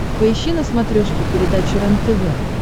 поищи на смотрешке передачу рентв